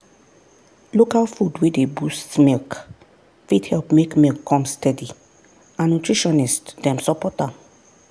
local food wey dey boost milk fit help make milk come steady and nutritionist dem support am.